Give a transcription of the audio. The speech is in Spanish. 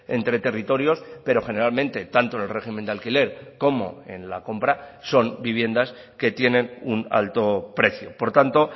entre territorios pero generalmente tanto en el régimen de alquiler como en la compra son viviendas que tienen un alto precio por tanto